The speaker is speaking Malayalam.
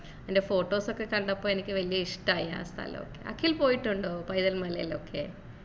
അതിന്റെ photos ഒക്കെ കണ്ടപ്പോ എനിക്ക് വല്യ ഇഷ്ടായി ആ സ്ഥലം അഖിൽ പോയിട്ടുണ്ടോ പൈതൽ മലയിലൊക്കെ